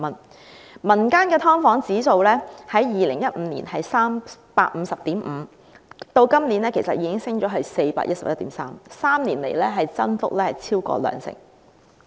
至於民間機構公布的"劏房"租金綜合指數，在2015年是 350.5， 今年已經升到 411.3， 在3年間增幅超過兩成。